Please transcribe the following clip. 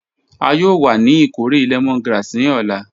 A yoo wa ni ikore lemongrass ni ọla.